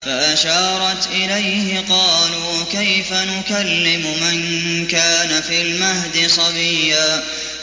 فَأَشَارَتْ إِلَيْهِ ۖ قَالُوا كَيْفَ نُكَلِّمُ مَن كَانَ فِي الْمَهْدِ صَبِيًّا